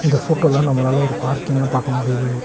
இந்த ஃபோட்டோல நம்மளால ஒரு பார்க்கிங்க பாக்க முடியுது.